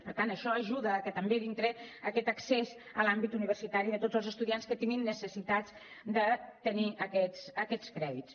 per tant això ajuda a aquest accés a l’àmbit universitari de tots els estudiants que tinguin necessitats de tenir aquests crèdits